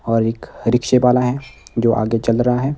और एक रिक्शे वाला है जो आगे चल रा है।